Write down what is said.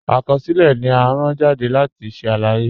Akọsilẹ̀ ni à rán jàdé láti ṣẹ̀ aláyé.